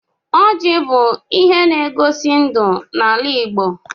Ọjị bụ ihe n'egosi ndụ n'ala Igbo.